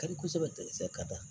Ka di kosɛbɛ ka taa